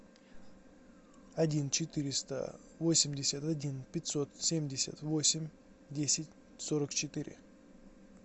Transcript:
один четыреста восемьдесят один пятьсот семьдесят восемь десять сорок четыре